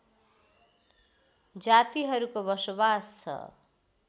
जातिहरूको बसोबास छ